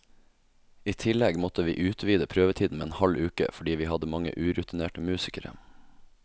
I tillegg måtte vi utvide prøvetiden med en halv uke, fordi vi hadde mange urutinerte musikere.